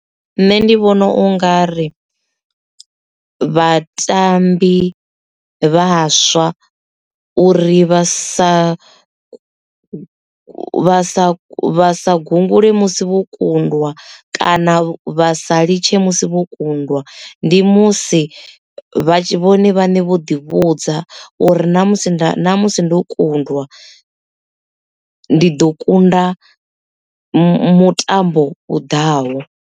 Nṋe ndi vhona u nga ri vhatambi vhaswa uri vha sa vha sa sa gungule musi vho kundwa kana vha sa litshe musi vho kundwa ndi musi vha tshi vhone vhane vho ḓi vhudza uri na musi nda musi ndi u kundwa ndi ḓo kunda mutambo u ḓaho.